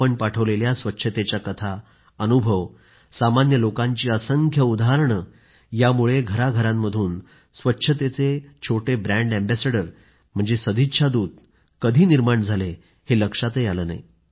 आपण पाठवलेल्या स्वच्छतेच्या कथा अनुभव सामान्य लोकांची असंख्य उदाहरणे यामुळे घरांघरांमधून स्वच्छतेचे छोटे ब्रँड अँबेसेडर म्हणजे सदिच्छा दूत कधी निर्माण झाले हे लक्षातच आलं नाही